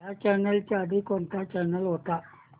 ह्या चॅनल च्या आधी कोणता चॅनल होता